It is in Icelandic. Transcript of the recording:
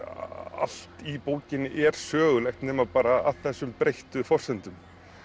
allt í bókinni er sögulegt nema bara að þessum breyttu forsendum